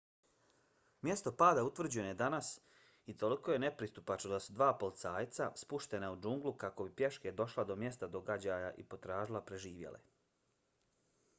mjesto pada utvrđeno je danas i toliko je nepristupačno da su dva policajca spuštena u džunglu kako bi pješke došla do mjesta događaja i potražila preživjele